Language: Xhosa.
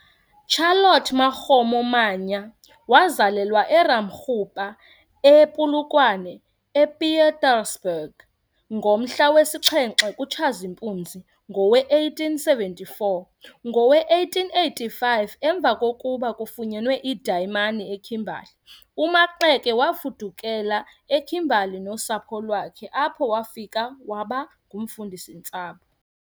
Charlotte Makgomo Mannya wazalelwa eRamakgopa ePolokwane, ePietersburg, ngomhla wesixhenxe kuTshazimpunzi ngowe-1874. Ngowe-1885, emva kokuba kufunyenwe iidayimani eKimberly, uMaxeke wafudukela eKimberly nosapho lwakhe apho wafika wabangumfundisi-ntsapho.